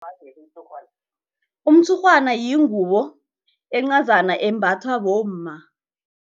Umtshurhwana yingubo encazana embathwa bomma.